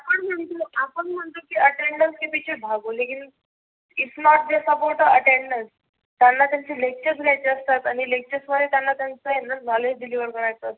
म्हणतो आपण म्हणतो की attendance झाली की भागो लेकीन इसमे attendance त्यांना त्यांचे lectures लिहायचे असतात. आणि lectures मुळे त्यांना त्यांच नॉलेज deliver करायच असतो.